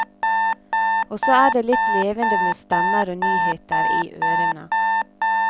Også er det litt levende med stemmer og nyheter i ørene.